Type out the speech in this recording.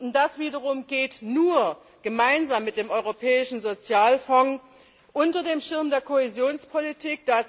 Und das wiederum geht nur gemeinsam mit dem Europäischen Sozialfonds unter dem Schirm der Kohäsionspolitik.